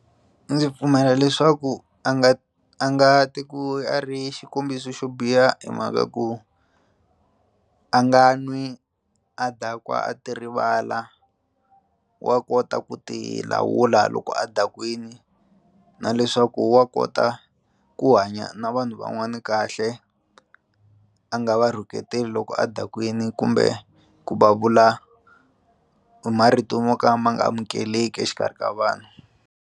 Ndzi pfumela leswaku a nga a nga ti ku a ri xikombiso xo biha hi mhaka ku a nga n'wi a dakwa a ti rivala wa kota ku ti lawula loko a dakwini na leswaku wa kota ku hanya na vanhu van'wana kahle a nga va rhuketeli loko a dakwini kumbe ku va vula marito mo ka ma nga amukeleki exikarhi ka vanhu.